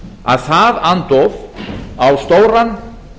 að það andóf á stóran